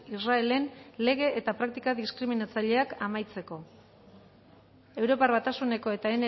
israelen lege eta praktika diskriminatzaileak amaitzeko europar batasuneko eta